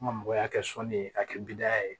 An ka mɔgɔ y'a kɛ sɔnni ye a kɛ bi da ye